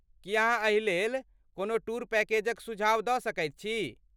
की अहाँ एहिलेल कोनो टूर पैकेजक सुझाव दऽ सकैत छी?